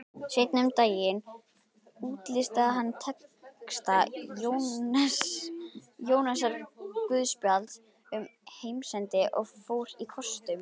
Seinna um daginn útlistaði hann texta Jóhannesarguðspjalls um heimsendi og fór á kostum.